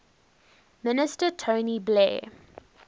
minister tony blair